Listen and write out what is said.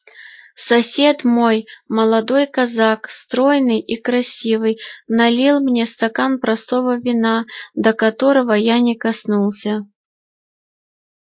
сосед мой молодой казак стройный и красивый налил мне стакан простого вина до которого я не коснулся